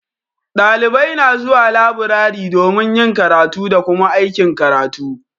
Dalibai na zuwa laburare domin yin karatu da Kuma aikin karatu.